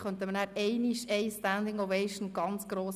Ich nenne dennoch rasch zwei Kennzahlen zu ihm: